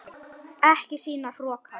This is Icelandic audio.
Ekki sýna hroka!